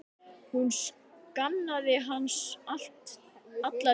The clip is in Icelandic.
Hún saknaði hans alla tíð.